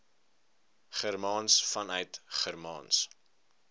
germaans vanuit germaans